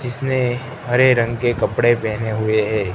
जिसने हरे रंग के कपड़े पहने हुए हैं।